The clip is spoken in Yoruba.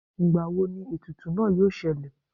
ngbàwó ní etùtù náá yóò ṣẹlẹ